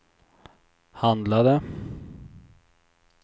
handlade